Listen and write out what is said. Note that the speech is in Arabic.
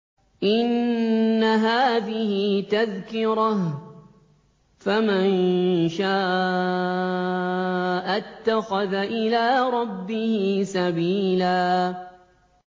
إِنَّ هَٰذِهِ تَذْكِرَةٌ ۖ فَمَن شَاءَ اتَّخَذَ إِلَىٰ رَبِّهِ سَبِيلًا